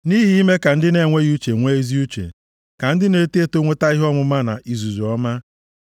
Nʼihi ime ka ndị na-enweghị uche nwee ezi uche, ka ndị na-eto eto nweta ihe ọmụma na izuzu ọma.